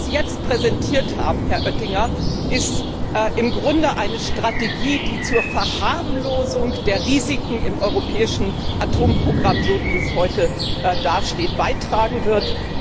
Was Sie jetzt präsentiert haben, Herr Oettinger, ist im Grunde eine Strategie, die zur Verharmlosung der Risiken im europäischen Atomprogramm, so wie es heute dasteht, beitragen wird.